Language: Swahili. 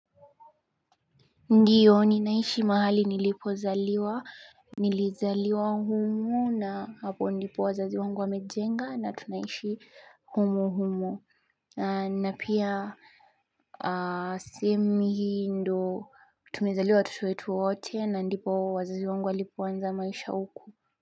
Ndiyo ninaishi mahali nilipozaliwa Nilizaliwa humu na hapo ndipo wazazi wangu wamejenga na tunaishi humu humu na pia sehemu hii ndo tumeizaliwa watoto watu wote na ndipo wazazi wangu walopoanza maisha huku.